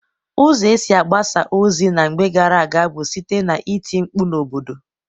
Ụzọ e si agbasa ozi na mgbe gara aga bụ site n'iti mkpu n'obodo